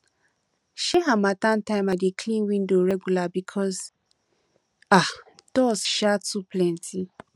um harmattan time i dey clean window regular because um dust um too plenty